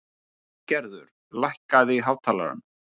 Siggerður, lækkaðu í hátalaranum.